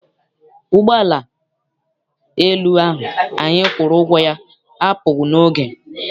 Ụgbọala elu ahụ anyị kwụrụ ụgwọ ya apụghị n'oge.